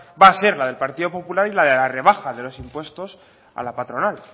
va a ser la del partido popular y la de la rebaja de los impuestos a la patronal